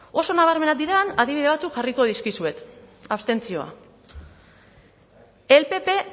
oso nabarmenak diren adibide batzuk jarriko dizkizuet abstentzioa el pp